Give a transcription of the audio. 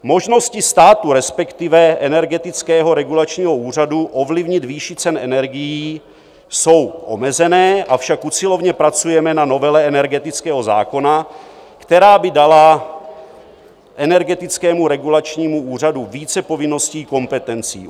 Možnosti státu, respektive Energetického regulačního úřadu ovlivnit výši cen energií jsou omezené, avšak usilovně pracujeme na novele energetického zákona, která by dala Energetickému regulačnímu úřadu více povinností, kompetencí.